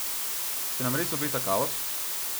Se nam res obeta kaos?